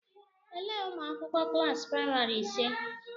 Elee ụmụakwụkwọ klaasị praịmari ise?